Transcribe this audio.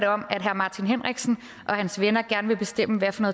om at herre martin henriksen og hans venner gerne vil bestemme hvad for